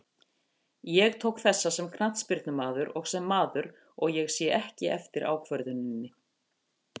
Ég tók þessa sem knattspyrnumaður og sem maður, og ég sé ekki eftir ákvörðuninni.